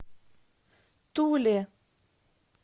туле